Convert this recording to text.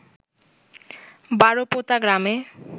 বারোপোতা গ্রামে